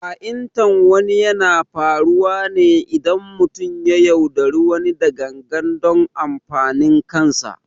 Ha’intar wani yana faruwa ne idan mutum ya yaudari wani da gangan don amfanin kansa